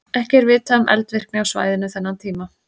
Ekki er vitað um eldvirkni á svæðinu þennan tíma.